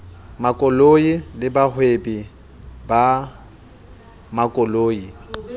makoloi le bahwebi ba makoloi